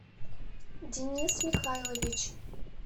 денис михайлович